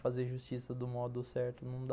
Fazer justiça do modo certo não dá.